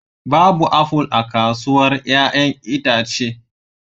Babu apple a kasuwar 'ya'yan itace